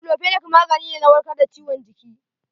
Daiclofenac magani ne na warkar da ciwon jiki.